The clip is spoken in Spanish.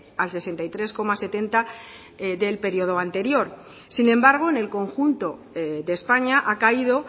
al sesenta y tres coma setenta del periodo anterior sin embargo en el conjunto de españa ha caído